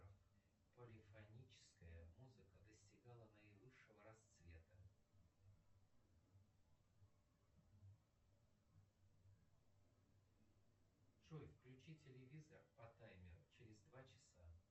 полифоническая музыка достигала наивысшего расцвета джой включи телевизор по таймеру через два часа